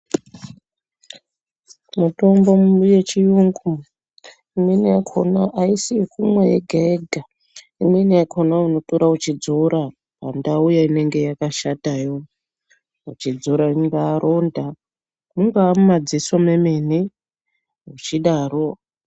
Mutombo yechiyungu imweni yakhona aisi yekumwa yega-yega imweni yakhona unotora uchidzora pandau inenge yakashatayo uchidzora ringaa ronda, munga mumadziso memene uchidaro.